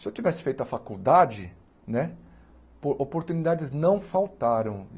Se eu tivesse feito a faculdade né, po oportunidades não faltaram.